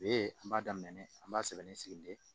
E an b'a daminɛ an b'a sɛbɛn ni sigili ye